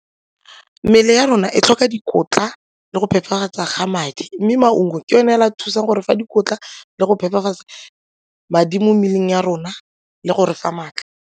Mmele ya rona e tlhoka dikotla le go phepafatsa ga madi mme maungo ke yone fela a thusang gore fa dikotla le go phepafatsa madi mo mmeleng ya rona le go re fa maatla.